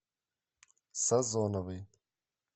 сазоновой